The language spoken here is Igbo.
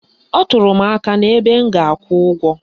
Ọ tụrụ m aka n'ebe m ga-akwụ ụgwọ